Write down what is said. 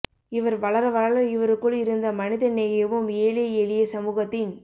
இவர் வளர வளர இவருக்குள் இருந்த மனித நேயமும் ஏழை எளிய சமூகத்தின்